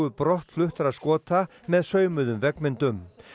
brottfluttra Skota með saumuðum veggmyndum